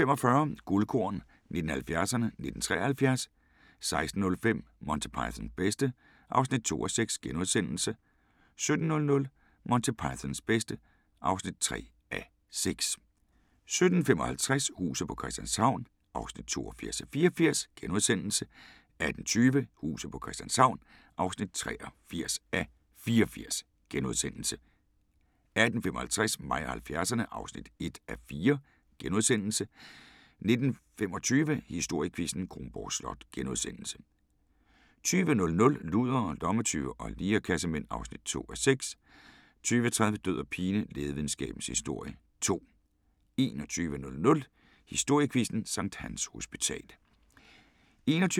15:45: Guldkorn 1970'erne: 1973 16:05: Monty Pythons bedste (2:6)* 17:00: Monty Pythons bedste (3:6) 17:55: Huset på Christianshavn (82:84)* 18:20: Huset på Christianshavn (83:84)* 18:55: Mig og 70'erne (1:4)* 19:25: Historiequizzen: Kronborg Slot * 20:00: Ludere, lommetyve og lirekassemænd (2:6) 20:30: Død og pine: Lægevidenskabens Historie 2 21:00: Historiequizzen: Sct. Hans Hospital